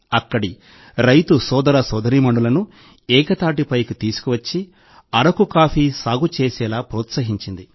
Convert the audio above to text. అక్కడి రైతు సోదర సోదరీమణులను ఏకతాటిపైకి తీసుకొచ్చి అరకు కాఫీ సాగు చేసేలా ప్రోత్సహించింది